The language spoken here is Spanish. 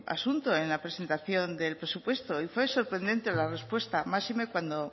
asunto en la presentación del presupuesto y fue sorprendente la respuesta máxime cuando